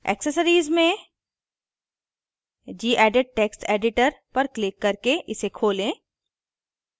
accessories में gedit text editor पर click करके इसे खोलें